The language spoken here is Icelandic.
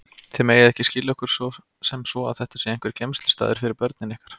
Þið megið ekki skilja okkur sem svo að þetta sé einhver geymslustaður fyrir börnin ykkar.